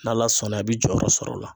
N'ala sɔnna, i bi jɔyɔrɔ sɔrɔ o la.